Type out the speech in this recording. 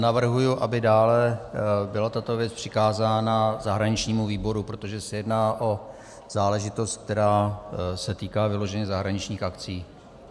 Navrhuji, aby dále byla tato věc přikázána zahraničnímu výboru, protože se jedná o záležitost, která se týká vyloženě zahraničních akcí.